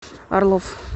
орлов